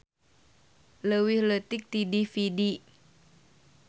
Leuwih leutik ti DVD.